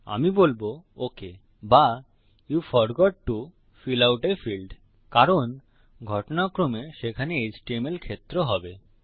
আমি বলবো okay but you forgot to fill out a field আপনি ফিল্ড ভরতে ভুলে গেছেন কারণ ঘটনাক্রমে সেখানে এচটিএমএল ফিল্ড হবে